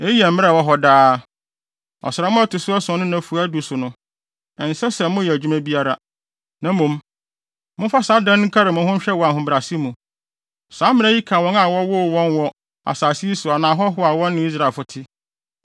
“Eyi yɛ mmara a ɛwɔ hɔ daa. Ɔsram a ɛto so ason no nnafua du so no, ɛnsɛ sɛ moyɛ adwuma biara, na mmom, momfa saa da no nkari mo ho nhwɛ wɔ ahobrɛase mu. Saa mmara yi ka wɔn a wɔwoo wɔn wɔ asase yi so anaa ahɔho a wɔne Israelfo te;